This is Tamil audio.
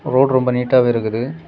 ரோடு ரொம்ப நீட்டாவே இருக்குது.